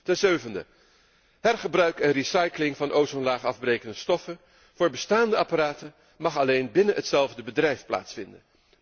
Ten zevende, hergebruik en recycling van ozonlaagafbrekende stoffen voor bestaande apparaten mag alleen binnen hetzelfde bedrijf plaatsvinden.